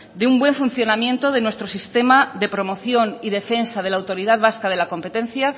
de un buen funcionamiento de nuestro sistema de promoción y defensa de la autoridad vasca de la competencia